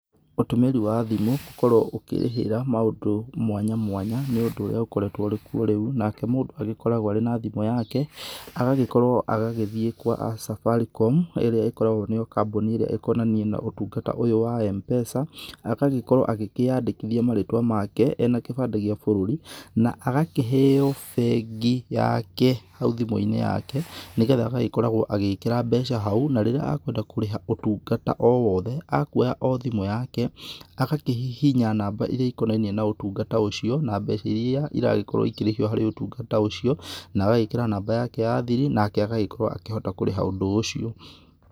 Ũtũmĩri wa thimũ gũkorwo ukĩrĩhĩra maũndũ mwanya mwanya nĩ ũndũ ũkorwtwo ũrĩkuo rĩu, nake mũndũ agĩkoragwo arĩ na thimũ yake, agagĩkorwo agagĩthiĩ gwa Safaricom, ĩrĩa ĩkoragwo nĩyo kambuni ĩrĩa ĩkonainie na ũtungata ũyũ wa M-Pesa. Agagĩkorwo akĩyandĩkithia marĩtwa make ena kĩbandĩ gĩa bũrũri, na agakĩheo bengi yake hau thimũ-inĩ yake, nĩ getha agagĩkoragwo agĩkĩra mbeca hau. Na rĩrĩa akwenda kũrĩha ũtungata o wothe, akuoya o thimũ yake, agakĩhihinya namba iria ikonainie na ũtungata ũcio, na mbeca iria iragĩkorwo ikĩrĩhio harĩ ũtungata ũcio, na agagĩkĩra namba yake ya thiri, nake agagĩkorwo akĩhota kũrĩha ũndũ ũcio.